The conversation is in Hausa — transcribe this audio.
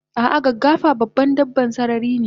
Ah ah gaggafa dabban sarari ne